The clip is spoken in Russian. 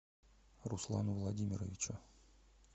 руслану владимировичу